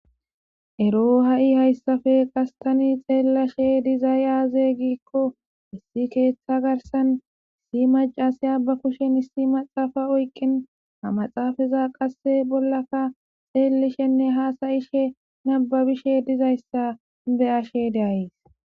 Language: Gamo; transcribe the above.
ero ha7i hayssafe qastani xeellashe dizay aaze giikko issi keeththa garsan issi macasey abba kushen issi maxaafa oyqin ha maxaafaza qasse bollaka xeellishenne haasayishe nababishe dizayssa be ashe daayes